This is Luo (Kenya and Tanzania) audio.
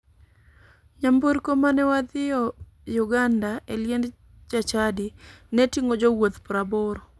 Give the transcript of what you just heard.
Nyamburko mane wadhio uganda e liend jachadi ne ting'o jowuoth 80.